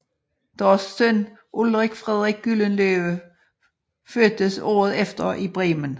Deres søn Ulrik Frederik Gyldenløve fødtes året efter i Bremen